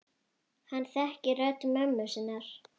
Hann þekkir rödd mömmu sinnar.